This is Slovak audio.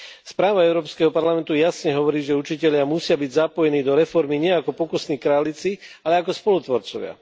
Správa Európskeho parlamentu jasne hovorí, že učitelia musia byť zapojení do reformy nie ako pokusné králiky, ale ako spolutvorcovia.